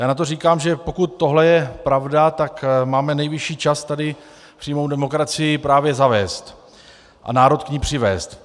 Já na to říkám, že pokud tohle je pravda, tak máme nejvyšší čas tady přímou demokracii právě zavést a národ k ní přivést.